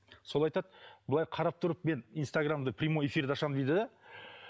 сол айтады былай қарап тұрып мен инстаграмды прямой эфирді ашам дейді де